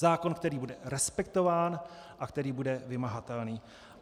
Zákon, který bude respektován a který bude vymahatelný.